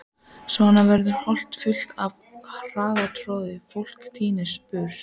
Svo varð holan full og harðtroðin, fólk tíndist burt.